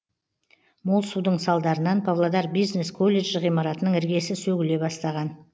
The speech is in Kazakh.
мол судың салдарынан павлодар бизнес колледжі ғимаратының іргесі сөгіле бастаған